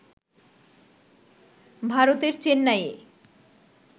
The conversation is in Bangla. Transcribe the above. ভারতের চেন্নাইয়ে